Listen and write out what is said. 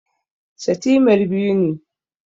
Setimer biyu ne